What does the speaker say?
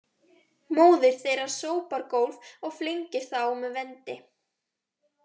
Móðir þeirra sópar gólf og flengir þá með vendi